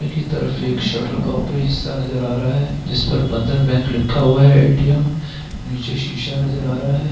की तरफ एक शटर का ऊपरी हिस्सा नज़र आ रहा है जिस पर बैंक लिखा हुआ है एटीम । नीचे शीशा नज़र आ रहा है।